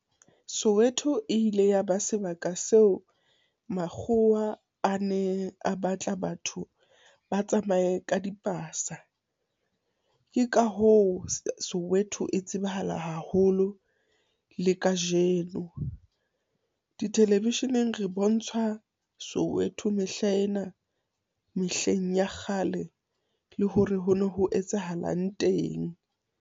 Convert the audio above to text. Soweto e ile ya ba sebaka seo, makgowa a ne a batla batho ba tsamaye ka dipasa. Ke ka hoo, Soweto e tsebahala haholo le kajeno. Ditelevisheneng re bontshwa Soweto mehlaena mehleng ya kgale le hore ho no ho etsahalang teng.